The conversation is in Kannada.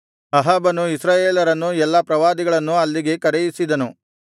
ಅಹಾಬನು ಇಸ್ರಾಯೇಲರನ್ನೂ ಎಲ್ಲಾ ಪ್ರವಾದಿಗಳನ್ನೂ ಅಲ್ಲಿಗೆ ಕರೆಯಿಸಿದನು